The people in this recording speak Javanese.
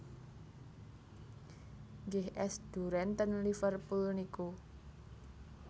Nggih es duren ten Liverpool niku